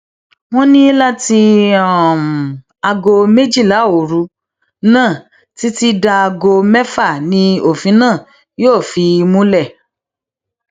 wọn ní láti um aago méjìlá òru náà títí dáago mẹfà ni òfin náà yóò fi um múlẹ